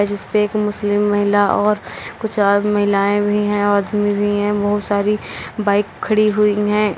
जिसपे एक मुस्लिम महिला और कुछ और महिलाएं भी हैं आदमी भी हैं बहुत सारी बाइक खड़ी हुई हैं।